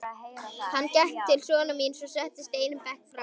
Hann gekk til sonar síns og settist einum bekk framar.